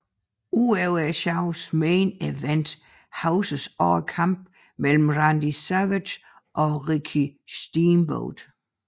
Udover showets main event huskes også kampen mellem Randy Savage og Ricky Steamboat